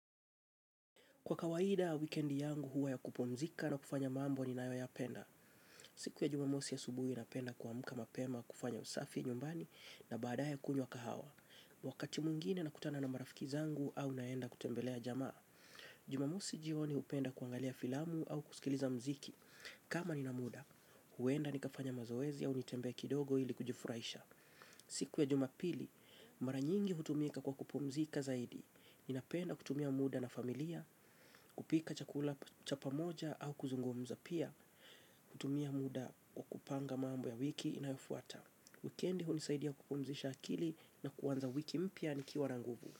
Kwa kawaida, wikendi yangu huwa ya kupumzika na kufanya mambo ninayoyapenda. Siku ya jumamosi ya asubuhi napenda kuamka mapema, kufanya usafi nyumbani na baadae kunywa kahawa. Wakati mwingine nakutana na marafiki zangu au naenda kutembelea jamaa. Jumamosi jioni hupenda kuangalia filamu au kusikiliza muziki. Kama nina muda, huenda nikafanya mazoezi au nitembee kidogo ili kujifuraisha. Siku ya jumapili, mara nyingi hutumika kwa kupumzika zaidi. Ninapenda kutumia muda na familia, kupika chakula cha pamoja au kuzungumza pia. Kutumia muda kwa kupanga mambo ya wiki inayofuata. Wikendi hunisaidia kupumzisha akili na kuanza wiki mpya nikiwa na nguvu.